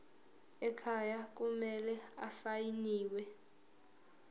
ekhaya kumele asayiniwe